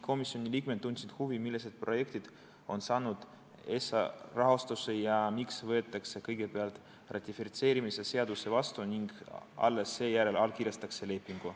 Komisjoni liikmed tundsid huvi, millised projektid on saanud ESA rahastuse ning miks võetakse kõigepealt ratifitseerimise seadus vastu ja alles seejärel allkirjastatakse leping.